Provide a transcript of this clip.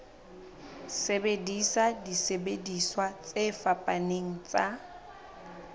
sebedisa disebediswa tse fapaneng tsa